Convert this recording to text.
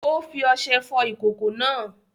Ó fí oṣe fò ìkòkò náà